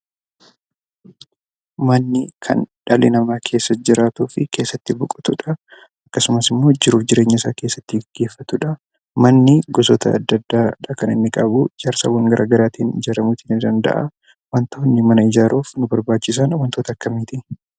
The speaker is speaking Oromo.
Manni Kan dhalli nama keessa jiraatuufi kan keessatti boqotuu jira, akkasumas immoo jiruufi jireenya isaa keessatti geggeeffaatudha. Mani gosoota adda addaadha Kan inni qabu, ijaarsawwaan garagaraattin ijaaramuu ni danda'aa. wantooni mana ijaaruuf nu barbachisan wantoota akkamitti?